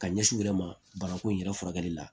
Ka ɲɛsi u yɛrɛ ma banakun yɛrɛ furakɛli la